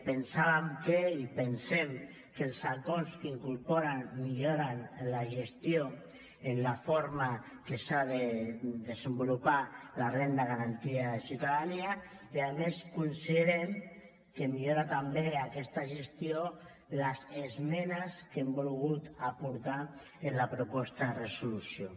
pensàvem que i ho pensem els acords que incorporen milloren la gestió de la forma com s’ha de desenvolupar la renda garantida de ciutadania i a més considerem que milloren també aquesta gestió les esmenes que hem volgut aportar en la proposta de resolució